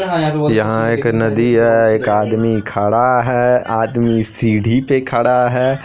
यहां एक नदी है एक आदमी खड़ा है आदमी सीढ़ीपे खड़ा है।